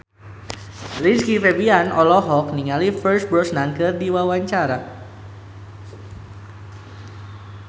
Rizky Febian olohok ningali Pierce Brosnan keur diwawancara